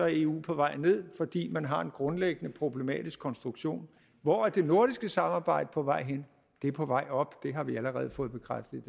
eu på vej ned fordi man har en grundlæggende problematisk konstruktion hvor er det nordiske samarbejde på vej hen det er på vej op det har vi allerede fået bekræftet